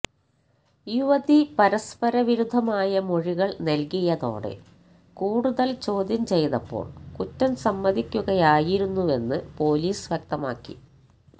യുവതി പരസ്പര വിരുദ്ധമായ മൊഴികൾ നൽകിയതോടെ കൂടുതൽ ചോദ്യം ചെയ്തപ്പോൾ കുറ്റം സമ്മതിക്കുകയായിരുന്നുവെന്ന് പൊലീസ് വ്യക്തമാക്കി